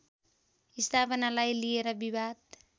स्थापनालाई लिएर विवाद